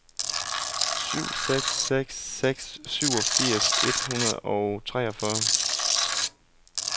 syv seks seks seks syvogfirs et hundrede og treogfyrre